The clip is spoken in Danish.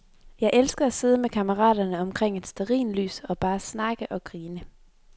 Jeg elsker at sidde med kammeraterne omkring et stearinlys og bare snakke og grine.